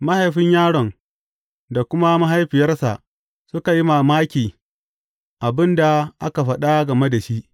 Mahaifin yaron da kuma mahaifiyarsa suka yi mamaki abin da aka faɗa game da shi.